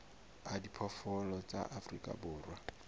a diphoofolo tsa afrika borwa